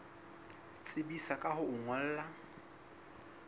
tsebisa ka ho o ngolla